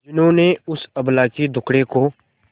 जिन्होंने उस अबला के दुखड़े को